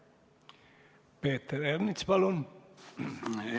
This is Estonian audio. Peeter Ernits, palun!